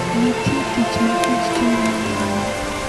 Nitie tich ma kich timo ne oganda.